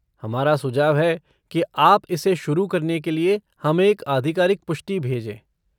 हमारा सुझाव है कि आप इसे शुरू करने के लिए हमें एक आधिकारिक पुष्टि भेजें।